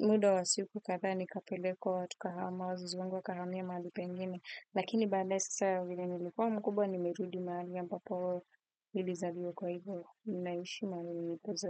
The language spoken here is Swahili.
muda wa siku kadhaa nikapelekwa tukahama wazazi wangu wakahamia mahali pengine. Lakini baadaye sasa vile nilikuwa mkubwa nimerudi mahali ambapo nilizaliwa kwa hivyo. Naishi mahali nilipoza.